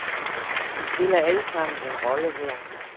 Vi spiller alle samen en rolle her.